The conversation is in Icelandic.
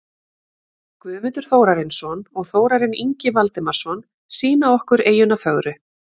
Guðmundur Þórarinsson og Þórarinn Ingi Valdimarsson sýna okkur eyjuna fögru.